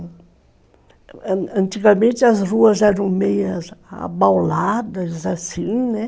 Antigamente as ruas eram meio abauladas, assim, né?